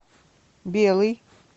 белый